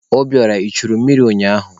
Obiora, I churu mmiri ụnyaahụ?